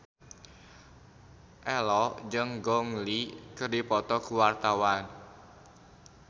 Ello jeung Gong Li keur dipoto ku wartawan